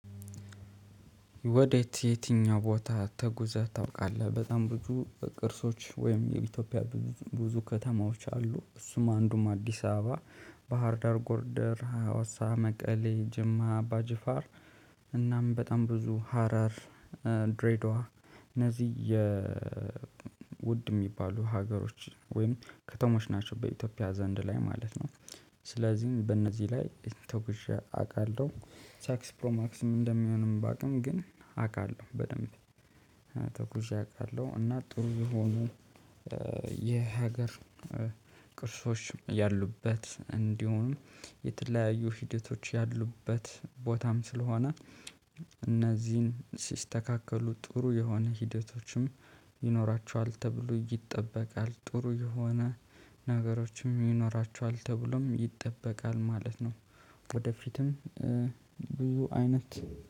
ወዴት የትኛው ቦታ ተጉዘህ ታውቃለህ? በጣም ብዙ ቅርሶች ወይም የኢትዮጵያ ብዙ ከተማዎች አሉ። እሱም አንዱም አዲስ አበባ ባህርዳር ጎርደር ሀዋሳ መቀሌ ጅማ አባ ጅፋር እናም በጣም ብዙ ሀረር ድሬዳዋ እነዚህ የውድ የሚባሉ ሀገሮች ወይም ከተሞች ናቸው በኢትዮጵያ ዘንድ ላይ ማለት ነው። ስለዚህ በእነዚህ ላይ ተጉዤ አውቃለሁ። ሳክስ ፕሮማክስም እንደሚሆንም በአቅም ግን አውቃለሁ በደንብ። ተጉዤ አውቃለሁ እና ጥሩ የሆኑ የሀገር ቅርሶችም ያሉበት እንዲሆኑ የተለያዩ ሂደቶች ያሉበት ቦታም ስለሆነ። እነዚህን ሲስተካከሉ ጥሩ የሆነ ሂደቶችም ይኖራቸዋል ተብሎ ይጠበቃል ጥሩ የሆነ ነገሮችም ይኖራቸዋል ተብሎም ይጠበቃል ማለት ነው። ወደፊትም ብዙ አይነት